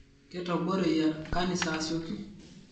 Ketoboreyia nkanisa asioki